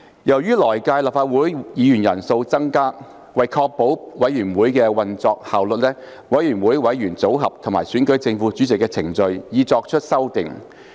由於來屆立法會議員人數會增加，為確保委員會的運作效率，委員會的委員組合及選舉正副主席的程序已作出修訂。